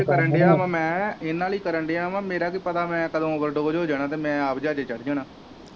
ਕਰਨ ਦਿਆ ਮੈ ਇਹਨਾਂ ਲਈ ਕਰਨ ਦਿਆ ਵਾ ਮੇਰਾ ਕੀ ਪਤਾ ਮੈ ਕਦੋ ਓਵਰਡੋਜ਼ ਹੋ ਜਾਣਾ ਤੇ ਮੈ ਆਪ ਜਹਾਜੇ ਚੜ ਜਾਣਾ।